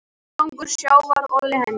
Ágangur sjávar olli henni.